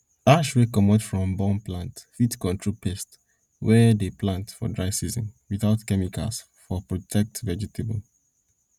ash wey comot from burn plant fit control pests wey dey plenty for dry season without chemicals for protect vegetable